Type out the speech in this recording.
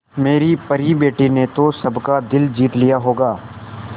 मेरी परी बेटी ने तो सबका दिल जीत लिया होगा